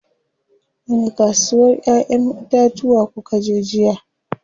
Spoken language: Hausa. Wani kasuwar ƴayen itatuwa kukaje jiya?